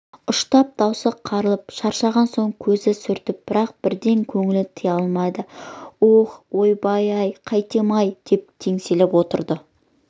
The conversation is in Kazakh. ұштап даусы қарлығып шаршаған соң көзін сүртіп бірақ бірден көңілін тыя алмай аһ ойбай-ай қайтейін-ай деп теңселіп отырды